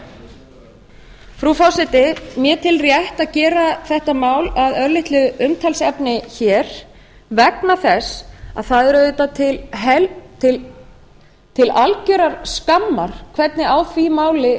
fasteignamati frú forseti ég tel rétt að gera þetta mál að örlitlu umtalsefni hér vegna þess að það er auðvitað til algjörrar skammar hvernig á